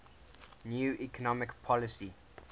new economic policy